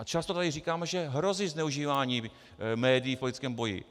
A často tady říkáme, že hrozí zneužívání médií v politickém boji.